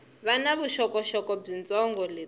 va na vuxokoxoko byitsongo lebyi